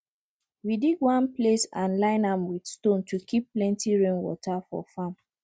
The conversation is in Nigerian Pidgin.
we dig one place and line am with stone to keep plenty rainwater for farm